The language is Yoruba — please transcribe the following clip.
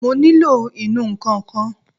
Mo nílò ìnù-ǹkan kan